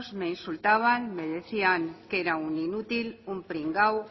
me insultaban me decían que era un inútil un pringado